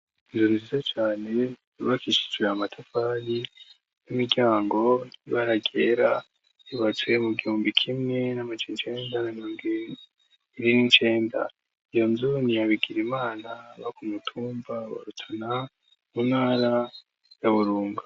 Inzuru size cane rubakishijwe amatafali n'imiryango ntibaragera ribacuye mu giumbi kimwe n'amace incenga nagiri n'incenda iyo nzuni yabigira imana baka mutumba barutana munara yaburunga.